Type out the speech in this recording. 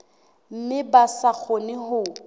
mme ba sa kgone ho